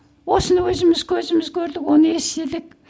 осыны өзіміз көзіміз көрдік оны естідік